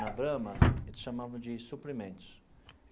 Na Brahma, eles chamavam de suprimentos.